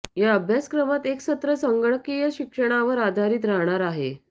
या अभ्यासक्रमात एक सत्र संगणकीय शिक्षणावर आधारित राहणार आहे